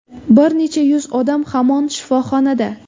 Bir necha yuz odam hamon shifoxonada.